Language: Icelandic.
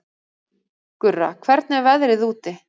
Gurra, hvernig er veðrið úti?